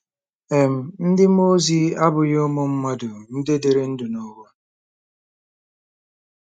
um Ndị mmụọ ozi abụghị ụmụ mmadụ ndị dịrị ndụ n'ụwa.